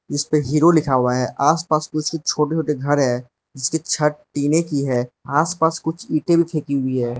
इस पे हीरो लिखा हुआ है आसपास छोटे छोटे कुछ घर हैं इसकी छत टीने की है आसपास कुछ ईटे भी फेंकी गई हैं।